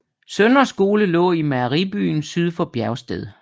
Søndre Skole lå i Mejeribyen syd for Biersted